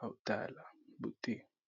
azo tala beauté .